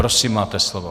Prosím, máte slovo.